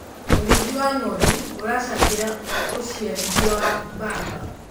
ũrĩithi wa ng'ondu uracangira uciarithia wa mbamba